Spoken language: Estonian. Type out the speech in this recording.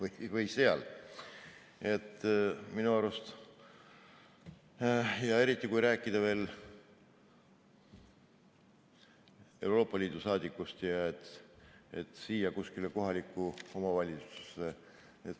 Eriti kui rääkida veel Euroopa Liidu saadikust, kes peab tulema siia kuskile kohalikku omavalitsusse.